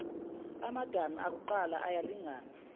amadami akuqala ayalingana